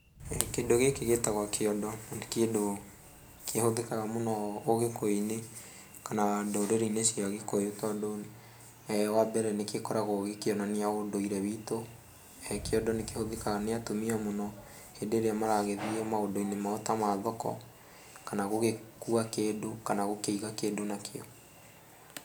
Kĩndũ gĩkĩ gĩtagwo kĩondo na nĩ kĩndũ kĩhũthĩkaga mũno ũgĩkũyũ-inĩ kana ndũrĩrĩ cia gĩkũyũ tondũ wa mbere nĩgĩkoragwo gĩkĩonania ũndũire witũ. Kĩondo nĩkĩhũthĩkaga nĩ atumia mũno hĩndĩ ĩrĩa maragĩthiĩ maũndũ-inĩ mao ta ma thoko kana gũgĩkua kĩndũ kana gũkĩiga kĩndũ nakĩo.